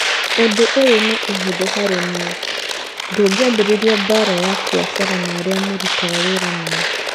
Ũndũ ũyũ nĩ ũhũthũ harĩ niĩ, ndũngĩambĩrĩria mbaara ya biacara na arĩa mũrutaga wĩra nao.